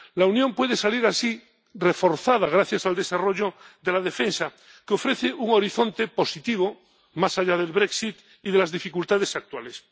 La Unión puede salir así reforzada gracias al desarrollo de la defensa, que ofrece un horizonte positivo, más allá del brexit y de las dificultades actuales.